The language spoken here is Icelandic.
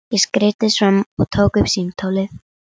Ég skreiddist fram og tók upp símtólið.